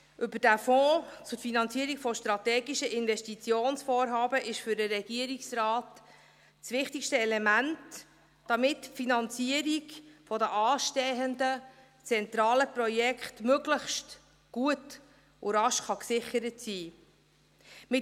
Das FFsIG ist für den Regierungsrat das wichtigste Element, damit die Finanzierung der anstehenden zentralen Projekte möglichst gut und rasch gesichert werden kann.